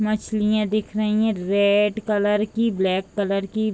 मछलियां दिख रही है रेड कलर की ब्लैक कलर की।